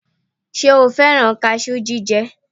Ṣe o fẹ́rán kaṣú jíjẹ?